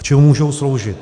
K čemu můžou sloužit?